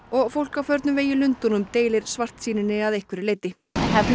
og fólk á förnum vegi í Lundúnum deilir svartsýninni að einhverju leyti